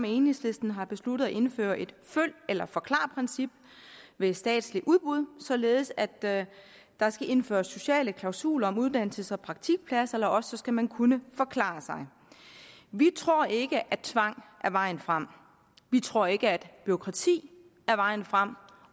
enhedslisten har besluttet at indføre et følg eller forklar princip ved statslige udbud således at der der skal indføres sociale klausuler med uddannelses og praktikpladser eller også skal man kunne forklare sig vi tror ikke at tvang er vejen frem vi tror ikke at bureaukrati er vejen frem